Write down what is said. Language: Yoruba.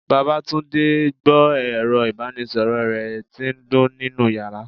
babatunde gbó erò ibanísoro re ti n dun ninú yara.